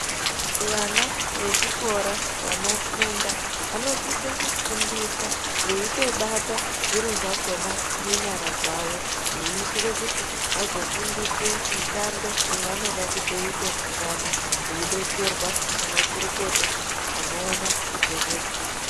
Vana vechikora, vanofunda, anosise kufundiswa veyitobata zviro zvakhona ngenyara dzawo. Veyitire kuti vazofundiswe mishando yavanode kuite mangwane , veidetserwa nemakurukota anowona ngezvedzidzo.